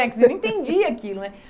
Porque eu não entendi aquilo, né?